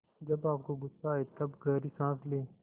जब आपको गुस्सा आए तब गहरी सांस लें